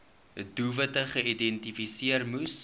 doelwitte geïdentifiseer moes